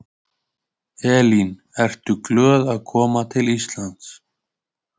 Elín: Ertu glöð að koma til Íslands?